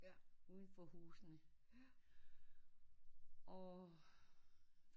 Udenfor husene og